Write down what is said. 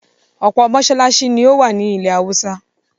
ọ̀pọ̀ mosálásí ni ó wà ní ilẹ̀-haúsá.